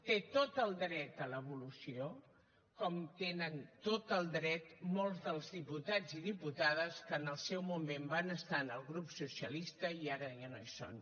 té tot el dret a l’evolució com tenen tot el dret molts dels diputats i diputades que en el seu moment van estar en el grup socialista i ara ja no hi són